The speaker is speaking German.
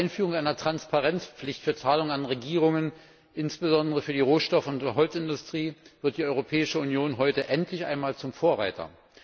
Mit der Einführung einer Transparenzpflicht für Zahlungen an Regierungen insbesondere für die Rohstoff und Holzindustrie wird die Europäische Union heute endlich einmal zum Vorreiter.